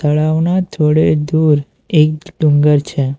તળાવના થોડે દૂર એક ડુંગર છે.